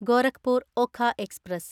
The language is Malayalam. ഗോരഖ്പൂർ ഒഖ എക്സ്പ്രസ്